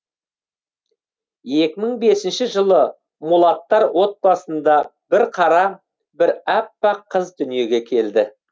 екі мың бесінші жылы мулаттар отбасында бір қара бір аппақ қыз дүниеге келді